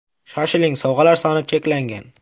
Shoshiling sovg‘alar soni cheklangan!